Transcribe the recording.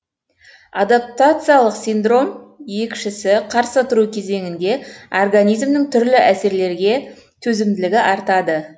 адаптациялық синдром екшісі қарсы тұру кезеңіңде организмнің түрлі әсерлерге төзімділігі артады